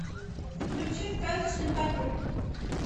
включи сказочный патруль